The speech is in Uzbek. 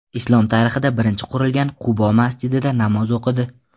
Islom tarixida birinchi qurilgan ‘Qubo‘ masjidida namoz o‘qidi.